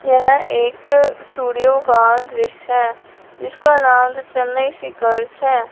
यह एक स्टूडियो का दृश्य है जिसका नाम द चेन्नई है।